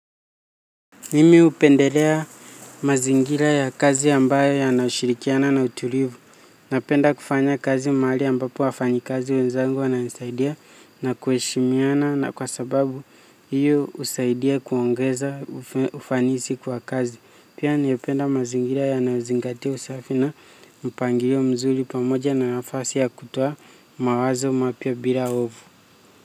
Nimi upendelea mazingira ya kazi ambayo yanashirikiana na utulivu. Napenda kufanya kazi mahali ambapo wafanyi kazi wenzangu wananisaidia na kuheshimiana na kwa sababu hiyo husaidia kuongeza ufanisi kwa kazi. Pia niupenda mazingira yanayozingati usafi na mpangilio mzuri pamoja na nafasi ya kutoa mawazo mapya bila ovu.